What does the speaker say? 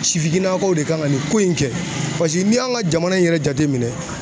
Sifinnakaw de kan ka nin ko in kɛ paseke n'i y'an ka jamana in yɛrɛ jateminɛ